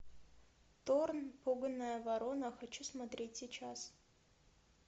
торн пуганая ворона хочу смотреть сейчас